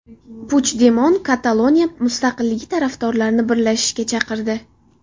Puchdemon Kataloniya mustaqilligi tarafdorlarini birlashishga chaqirdi.